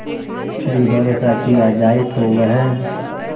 भी भरोसा किया जाए तो वह